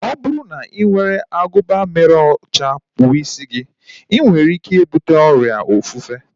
Ọ bụrụ na ị were agụba mere ochie kpụọ isi gị, inwere ike ibute ọrịa ofufe